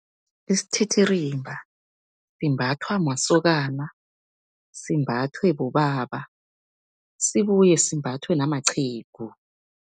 Isithithirimba imbathwa masokana, simbathwe bobaba, sibuye simbathwe namaqhegu.